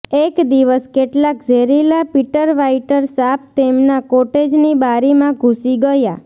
એક દિવસ કેટલાક ઝેરીલા પિટરવાઈટર સાપ તેમના કોટેજની બારીમાં ઘૂસી ગયા